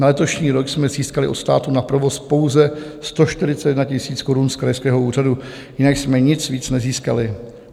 Na letošní rok jsme získali od státu na provoz pouze 141 000 korun z krajského úřadu, jinak jsme nic víc nezískali.